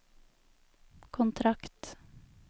kontrakt